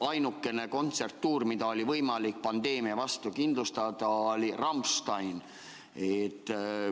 Ainukene kontserdituur, mida oli võimalik pandeemia vastu kindlustada, oli Rammsteini oma.